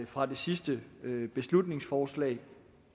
fra det sidste beslutningsforslag